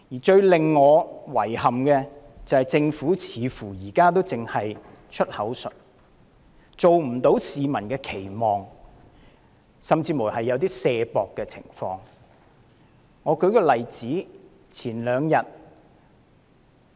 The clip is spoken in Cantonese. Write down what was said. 最令我感到遺憾的是，政府現時似乎只在"出口術"，表現未符市民的期望，甚至有推卸責任之嫌。